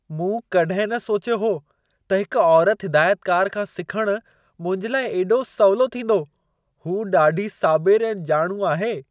मूं कॾहिं न सोचियो हो त हिक औरति हिदायतकारु खां सिखणु मुंहिंजे लाइ हेॾो सवलो थींदो। हूअ ॾाढी साबिरु ऐं ॼाणू आहे।